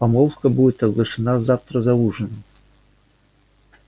помолвка будет оглашена завтра за ужином